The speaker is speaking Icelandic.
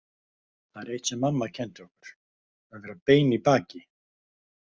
Það var eitt sem mamma kenndi okkur: að vera bein í baki.